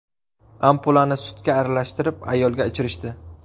Ampulani sutga aralashtirib ayolga ichirishdi.